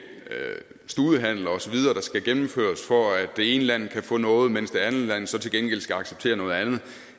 studehandler og så videre der skal gennemføres for at det ene land kan få noget mens det andet land så til gengæld skal acceptere noget andet